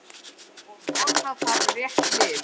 Og nota þarf rétt lyf.